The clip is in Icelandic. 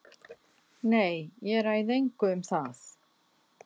Nei, ég ræð engu um það.